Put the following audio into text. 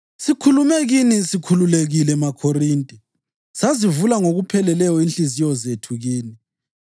Sikhulume kini sikhululekile, maKhorinte, sazivula ngokupheleleyo inhliziyo zethu kini.